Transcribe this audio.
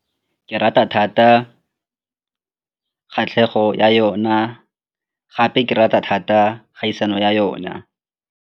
Ke rata thata kgatlhego ya yona gape ke rata thata kgaisano ya yona.